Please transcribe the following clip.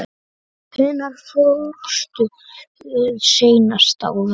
Hvenær fórstu seinast á völlinn?